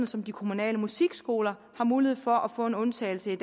som de kommunale musikskoler i har mulighed for at få en undtagelse